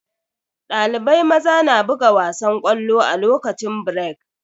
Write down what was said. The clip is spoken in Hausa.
Dalibai maza na buga wasan ƙwallo a lokacin birek.